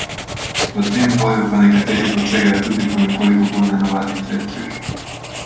V tem boju pa nekateri posegajo tudi po nekoliko bolj nenavadnih sredstvih.